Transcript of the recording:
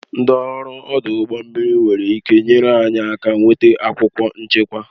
Ndị ọrụ ọdụ ụgbọ mmiri nwere ịke nyere anyị aka nweta akwụkwọ nchekwa